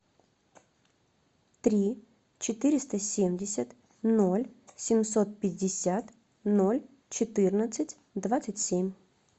три четыреста семьдесят ноль семьсот пятьдесят ноль четырнадцать двадцать семь